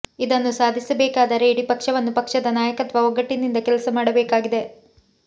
ಇದನ್ನು ಸಾಧಿಸಬೇಕಾದರೆ ಇಡೀ ಪಕ್ಷವನ್ನು ಪಕ್ಷದ ನಾಯಕತ್ವ ಒಗ್ಗಟ್ಟಿನಿಂದ ಕೆಲಸ ಮಾಡಬೇಕಾಗಿದೆ